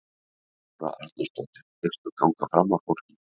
Þóra Arnórsdóttir: Hyggstu ganga fram af fólki?